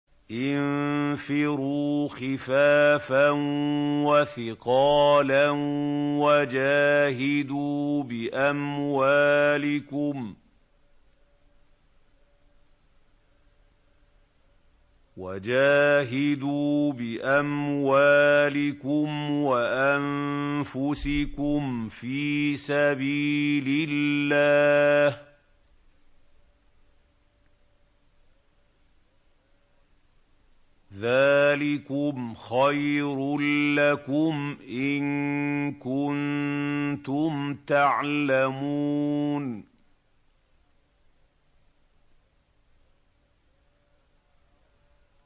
انفِرُوا خِفَافًا وَثِقَالًا وَجَاهِدُوا بِأَمْوَالِكُمْ وَأَنفُسِكُمْ فِي سَبِيلِ اللَّهِ ۚ ذَٰلِكُمْ خَيْرٌ لَّكُمْ إِن كُنتُمْ تَعْلَمُونَ